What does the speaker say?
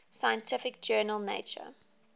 scientific journal nature